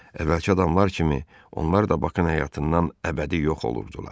Əvvəlki adamlar kimi onlar da Bakının həyatından əbədi yox olurdular.